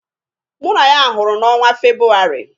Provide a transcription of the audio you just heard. Mụ na ya hụrụ na ọnwa Febụwarị.